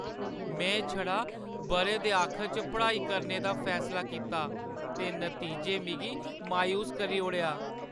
में छड़ा बʼरे दे आखर च पढ़ाई करने दा फैसला कीता ते नतीजें मिगी मायूस करी ओड़ेआ।